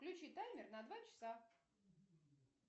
включи таймер на два часа